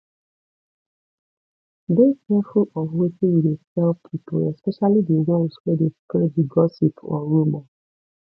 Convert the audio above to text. dey careful of wetin you de tell pipo especially di ones wey de spreed di gossip or rumor